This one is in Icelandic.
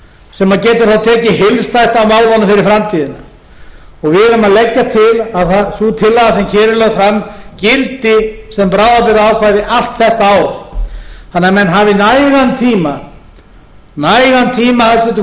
sem getur þá tekið heildstætt á málunum fyrir framtíðina við erum að leggja til að sú tillaga sem hér er lögð fram gildi sem bráðabirgðaákvæði allt þetta ár þannig að menn hafi nægan tíma hæstvirtur forseti